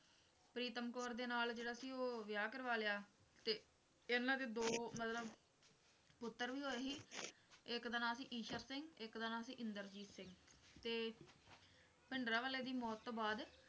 ਪ੍ਰੀਤਮ ਕੌਰ ਦੇ ਨਾਲ ਜਿਹੜਾ ਸੀ ਉਹ ਵਿਆਹ ਕਰਵਾ ਲਿਆ ਤੇ ਇਨ੍ਹਾਂ ਦੇ ਦੋ ਮਤਲਬ ਪੁੱਤਰ ਵੀ ਹੋਏ ਸੀ ਇੱਕ ਦਾ ਨਾਮ ਸੀ ਈਸ਼ਰ ਸਿੰਘ ਇੱਕ ਦਾ ਨਾਮ ਸੀ ਇੰਦਰਜੀਤ ਸਿੰਘ ਤੇ ਭਿੰਡਰਾਂਵਾਲੇ ਦੀ ਮੌਤ ਤੋਂ ਬਾਅਦ